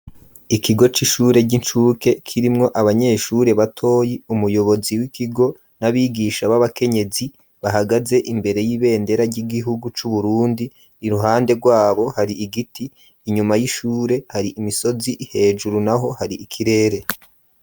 Ikigo c'ishure ry'inshuke kirimwo abanyeshure batoyi umuyobozi w'ikigo n'abigisha b'abakenyezi bahagaze imbere y'ibendera ry'igihugu cu Burundi iruhande rwabo hari igiti inyuma y'ishure hari imisozi hejuru naho hari ikirere.